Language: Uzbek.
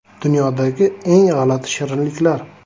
Dunyodagi eng g‘alati shirinliklar.